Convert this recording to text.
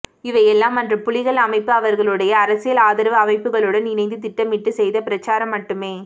இவையெல்லாம் அன்று புலிகள் அமைப்பு அவர்களுடைய அரசியல் ஆதரவு அமைப்புகளுடன் இணைந்து திட்டமிட்டு செய்த பிரச்சாரம் மட்டுமே